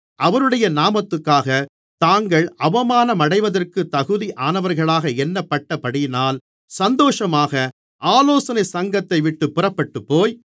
அவருடைய நாமத்துக்காக தாங்கள் அவமானமடைவதற்குத் தகுதியானவர்களாக எண்ணப்பட்டபடியினால் சந்தோஷமாக ஆலோசனைச் சங்கத்தைவிட்டுப் புறப்பட்டுப்போய்